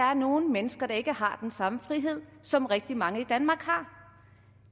er nogle mennesker der ikke har den samme frihed som rigtig mange i danmark har